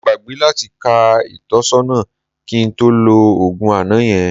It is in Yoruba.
Mo gbàgbé láti ka ìtọ́sọ́nà kí n tó lo òògùn àná yẹn